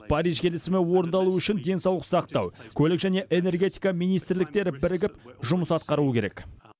париж келісімі орындалуы үшін денсаулық сақтау көлік және энергетика министрліктері бірігіп жұмыс атқаруы керек